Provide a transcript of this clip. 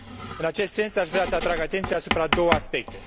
În acest sens, aș vrea să atrag atenția asupra a două aspecte